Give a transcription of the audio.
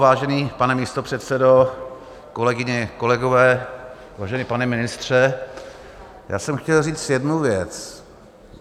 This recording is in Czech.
Vážený pane místopředsedo, kolegyně, kolegové, vážený pane ministře, já jsem chtěl říct jednu věc.